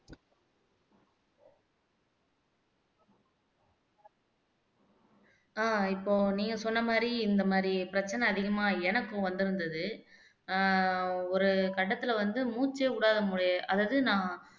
ஆஹ் இப்போ நீங்க சொன்ன மாதிரி இந்த மாதிரி பிரச்சனை அதிகமா எனக்கும் வந்திருந்தது ஆஹ் ஒரு கட்டத்திலே வந்து மூச்சே விடாம அதாவது நான்